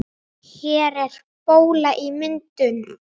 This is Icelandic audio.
Hér er bóla í myndun.